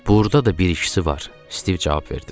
Burda da bir ikisi var, Stiv cavab verdi.